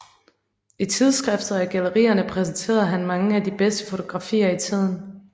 I tidsskriftet og i gallerierne præsenterede han mange af de bedste fotografier i tiden